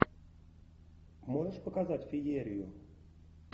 можешь показать феерию